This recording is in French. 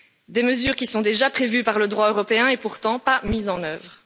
Des mesures qui sont déjà prévues par le droit européen et pourtant non mises en œuvre.